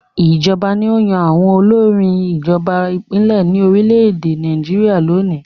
Ìjọba ni ó yan àwọn olórí ìjọba ìbílẹ̀ ní orílẹ̀-èdè Nàìjíríà lónìí.